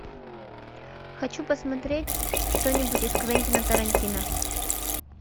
хочу посмотреть что нибудь из квентина тарантино